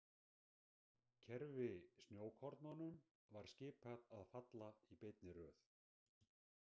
Kerfi Snjókornunum var skipað að falla í beinni röð.